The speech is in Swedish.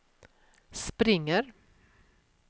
springer